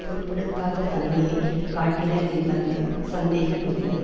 பொருட்படுத்தாத தன்மையை காட்டினர் என்பதில் சந்தேகம் இல்லை